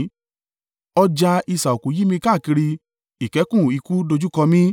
Ọ̀já isà òkú yí mi káàkiri; ìkẹ́kùn ikú dojúkọ mí.